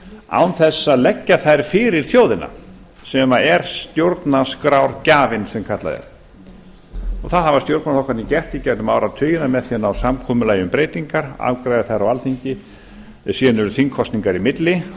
án þess að leggja þær fyrir þjóðina sem er stjórnarskrárgjafinn sem kallað er og það hafa stjórnarflokkarnir gert í gegnum áratugina með því að ná samkomulagi um breytingar afgreiða þær á alþingi síðan eru þingkosningar á milli